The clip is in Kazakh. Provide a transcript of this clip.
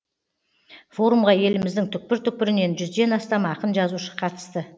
форумға еліміздің түкпір түкпірінен жүзден астам ақын жазушы қатысты